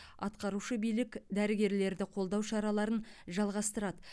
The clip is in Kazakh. атқарушы билік дәрігерлерді қолдау шараларын жалғастырады